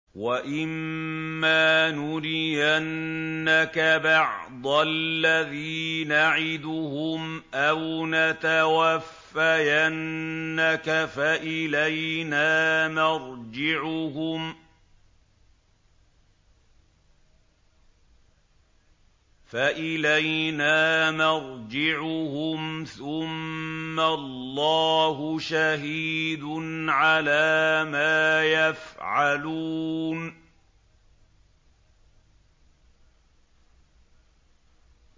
وَإِمَّا نُرِيَنَّكَ بَعْضَ الَّذِي نَعِدُهُمْ أَوْ نَتَوَفَّيَنَّكَ فَإِلَيْنَا مَرْجِعُهُمْ ثُمَّ اللَّهُ شَهِيدٌ عَلَىٰ مَا يَفْعَلُونَ